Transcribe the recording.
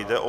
Jde o